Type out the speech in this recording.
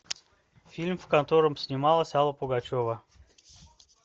фильм в котором снималась алла пугачева